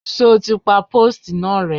Ṣoti pa póòstì náà rẹ́!